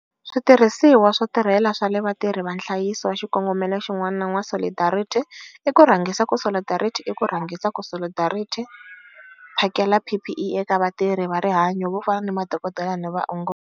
Switirhisiwa swo tisirhelela swa vatirhi va nhlayiso wa Xikongomelo xin'wana xa N'wa Solidarity i ku rhangisa ku Solidarity i ku rhangisa ku Solidarity phakela PPE eka vatirhi va rihanyo vo fana ni madokodela na vaongori.